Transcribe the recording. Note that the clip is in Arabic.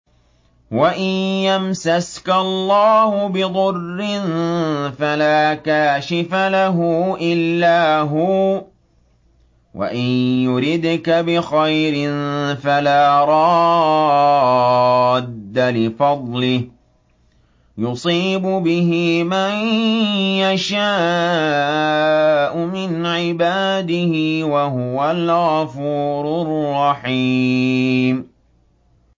وَإِن يَمْسَسْكَ اللَّهُ بِضُرٍّ فَلَا كَاشِفَ لَهُ إِلَّا هُوَ ۖ وَإِن يُرِدْكَ بِخَيْرٍ فَلَا رَادَّ لِفَضْلِهِ ۚ يُصِيبُ بِهِ مَن يَشَاءُ مِنْ عِبَادِهِ ۚ وَهُوَ الْغَفُورُ الرَّحِيمُ